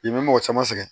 I bɛ mɔgɔ caman sɛgɛn